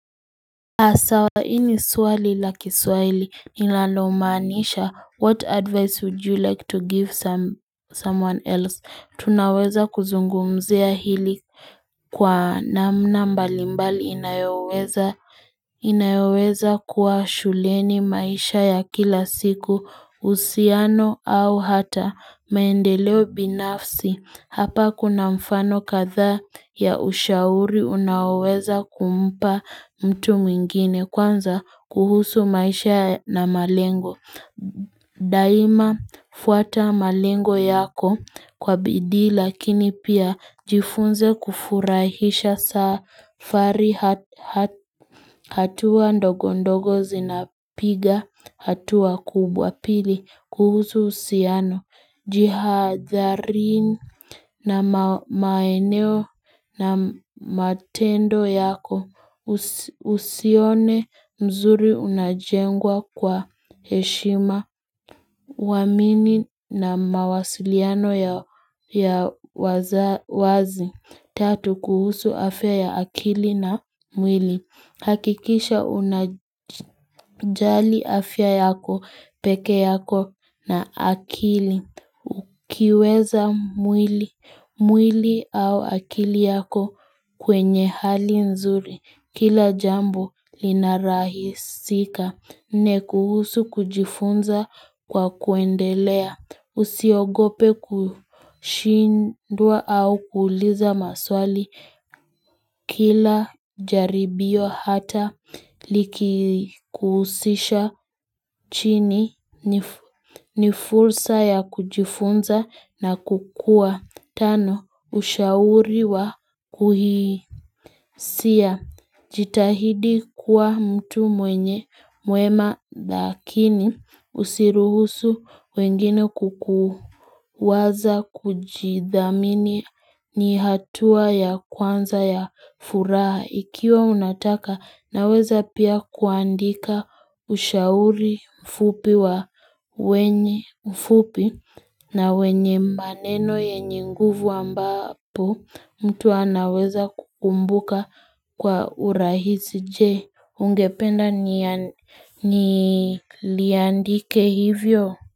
Sawa hii ni swali la kiswahili linalomaanisha what advice would you like to give some someone else tunaweza kuzungumzia hili kwa namna mbalimbali inayoweza inaweza kuwa shuleni maisha ya kila siku uhusiano au hata maendeleo binafsi hapa kuna mfano kadhaa ya ushauri unaoweza kumpa mtu mwingine kwanza kuhusu maisha na malengo. Daima fuata malengo yako kwa bidii lakini pia jifunze kufurahisha safari hatua ndogo ndogo zinapiga hatua kubwa pili kuhusu uhusiano. Jihadharini na maeneo na matendo yako usione mzuri unajengwa kwa heshima Waamini na mawasiliano ya waziwazi. Tatu kuhusu afya ya akili na mwili, hakikisha unajali afya yako peke yako na akili Ukiweza mwili au akili yako kwenye hali nzuri kila jambo linarahisika. Nne kuhusu kujifunza kwa kuendelea, usiogope kushindwa au kuuliza maswali Kila jaribio hata likikuhusisha chini ni fursa ya kujifunza na kukua. Tano, ushauri wa kuhisia, jitahidi kuwa mtu mwenye mwema lakini usiruhusu wengine kukuu waza kujidhamini ni hatua ya kwanza ya furaha ikiwa unataka naweza pia kuandika ushauri mfupi wa wenye mfupi na wenye maneno yenye nguvu ambapo mtu anaweza kukumbuka kwa urahisi je. Ungependa niliandike hivyo?